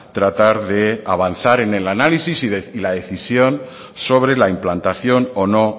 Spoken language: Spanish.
tratar de avanzar en el análisis y la decisión sobre la implantación o no